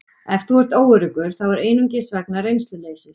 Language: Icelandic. Ef þú ert óöruggur þá er það einungis vegna reynsluleysis.